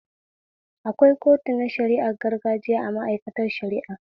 Akwai kotu na shari'ar gargajiya a mai'aikatar shara'a